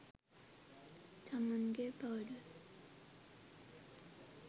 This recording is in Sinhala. තමන්ගේ පාඩුවේ